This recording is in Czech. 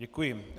Děkuji.